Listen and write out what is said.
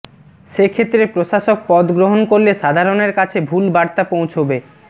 সেক্ষেত্রে প্রশাসক পদ গ্রহণ করলে সাধারণের কাছে ভুল বার্তা পৌঁছবে